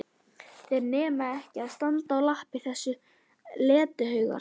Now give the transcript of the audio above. Þeir nenna ekki að standa á lappir þessir letihaugar!